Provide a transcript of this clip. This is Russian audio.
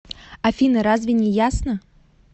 афина разве не ясно